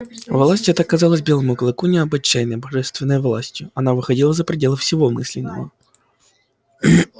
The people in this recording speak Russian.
власть эта казалась белому клыку необычайной божественной властью она выходила за пределы всего мыслимого